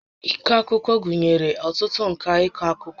Ịkọ akụkọ gụnyere ọtụtụ ǹkà ịkọ akụkọ